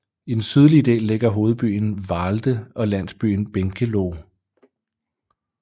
I den sydlige del ligger hovedbyen Vahlde og landsbyen Benkeloh